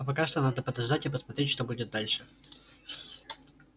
а пока что надо подождать и посмотреть что будет дальше